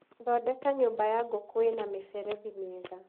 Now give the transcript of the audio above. Thondeka nyũmba ya ngũkũ ĩna mĩberethi mĩega.